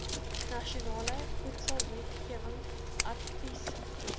nasionale voedselwetgewing adviesgroep